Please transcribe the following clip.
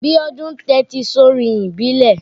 Biọ́dún ń tẹ́tí sórin ìbílẹ̀.